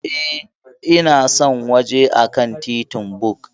E, Na san wajen a kan titin BUK.